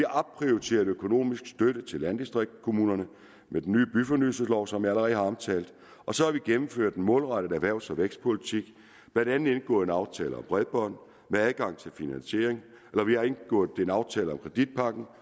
opprioriteret økonomisk støtte til landdistriktskommunerne med den nye byfornyelseslov som jeg allerede har omtalt og så har vi gennemført en målrettet erhvervs og vækstpolitik blandt andet indgået en aftale om bredbånd med adgang til finansiering og vi har indgået en aftale om kreditpakken